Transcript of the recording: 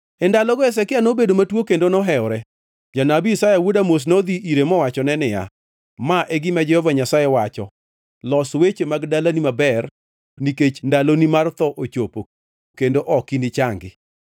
E ndalogo Hezekia nobedo matuo kendo nohewore. Janabi Isaya wuod Amoz nodhi ire mowachone niya, “Ma e gima Jehova Nyasaye wacho: Los weche mag dalani maber nikech ndaloni mar tho ochopo kendo ok inichangi.”